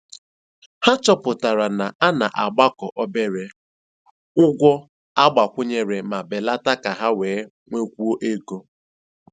Ha chọpụtara na a na-agbakọ obere ụgwọ agbakwunyere ma belata ka ha wee nwekwuo ego.